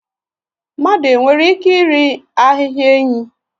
Mmadụ nwere ike iri ahịhịa enyí?